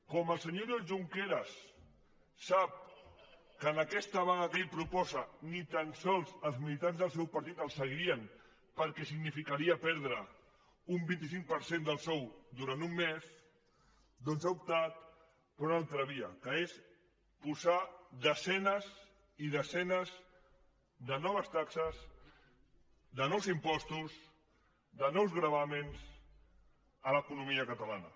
com el senyor junqueras sap que en aquesta vaga que ell proposa ni tan sols els militants del seu partit el seguirien perquè significaria perdre un vint cinc per cent del sou durant un mes doncs ha optat per una altra via que és posar desenes i desenes de noves taxes de nous impostos de nous gravàmens a l’economia catalana